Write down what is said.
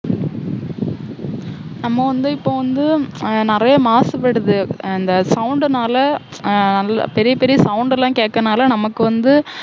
நம்ம வந்து இப்ப வந்து அஹ் நிறைய மாசுபடுது அந்த sound னால அஹ் பெரிய பெரிய sound எல்லாம் கேட்கறதுனால நமக்கு வந்து